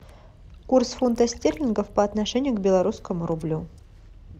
курс фунта стерлингов по отношению к белорусскому рублю